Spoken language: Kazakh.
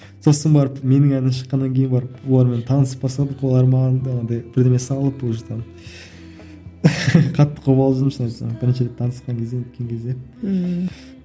сосын барып менің әнім шыққаннан кейін барып олармен танысып бастадық олар маған бірдеме салып уже там қатты қобалжыдым шынымды айтсам бірінші рет танысқан кезде не еткен кезде ммм